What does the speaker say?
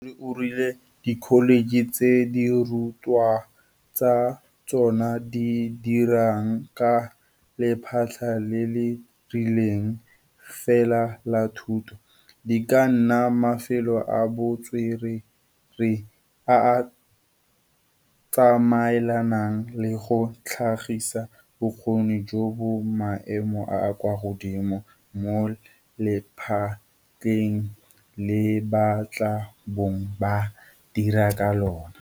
Tona Pandor o rile dikholetšhe tse dirutwa tsa tsona di dirang ka lephata le le rileng fela la thuto, di ka nna mafelo a bo tswerere a a tsamaelanang le go tlhagisa bokgoni jo bo maemo a a kwa godimo mo lephateng le ba tla bong ba dira ka lona.